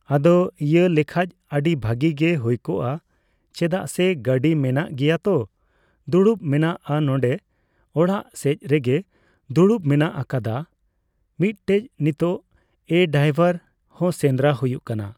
ᱟᱫᱚ ᱤᱭᱟᱹ ᱞᱮᱠᱷᱟᱡ ᱟᱹᱰᱤ ᱵᱷᱟᱹᱜᱤ ᱜᱮ ᱦᱩᱭ ᱠᱚᱜᱼᱟ ᱾ ᱪᱮᱫᱟᱜ ᱥᱮ ᱜᱟᱹᱰᱤ ᱢᱮᱱᱟᱜ ᱜᱮᱭᱟ ᱛᱚ, ᱫᱩᱲᱩᱵ ᱢᱮᱱᱟᱜᱼᱟ ᱱᱚᱸᱰᱮ ᱚᱲᱟᱜ ᱥᱮᱡ ᱨᱮᱜᱮ ᱫᱩᱲᱩᱵ ᱢᱮᱱᱟᱜ ᱠᱟᱫᱟ ᱢᱤᱫᱴᱷᱮᱡ ᱱᱤᱛᱚᱜ ᱾ ᱮᱸ ᱰᱟᱭᱵᱟᱨ ᱦᱚᱸ ᱥᱮᱸᱫᱽᱨᱟ ᱦᱩᱭᱩᱜ ᱠᱟᱱᱟ᱾